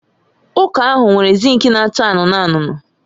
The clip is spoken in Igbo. Ụka ahụ nwere zink na-acha anụnụ anụnụ